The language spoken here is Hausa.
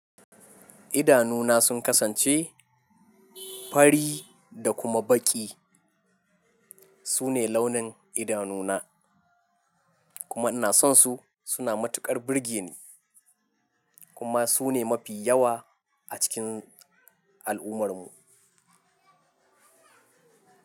Idanuna sun kasance fari da kuma baƙi. Su ne launin idanuna kuma ina son su. Su na matuƙar burgeni kuma su ne mafi yawa a cikin al'ummar mu.